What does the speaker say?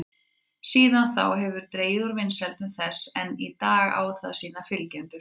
Síðan þá hefur dregið úr vinsældum þess en enn í dag á það sína fylgjendur.